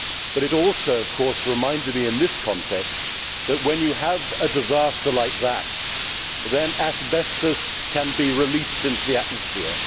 But it also, of course, reminded me in this context that, when you have a disaster like that, asbestos can be released into the atmosphere.